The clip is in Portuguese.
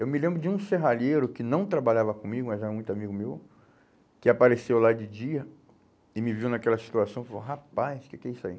Eu me lembro de um serralheiro que não trabalhava comigo, mas era muito amigo meu, que apareceu lá de dia e me viu naquela situação e falou, rapaz, o que que é isso aí?